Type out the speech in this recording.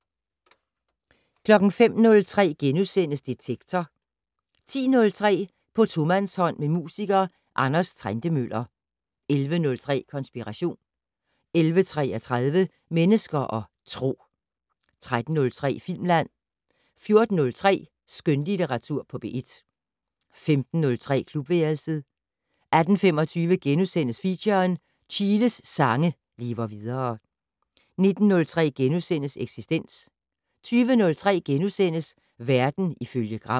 05:03: Detektor * 10:03: På tomandshånd med musiker Anders Trentemøller 11:03: Konspiration 11:33: Mennesker og Tro 13:03: Filmland 14:03: Skønlitteratur på P1 15:03: Klubværelset 18:25: Feature: Chiles sange lever videre * 19:03: Eksistens * 20:03: Verden ifølge Gram *